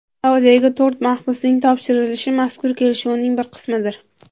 Saudiyaga to‘rt mahbusning topshirilishi mazkur kelishuvning bir qismidir.